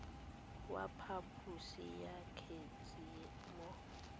wa phaposo ya kgetse mo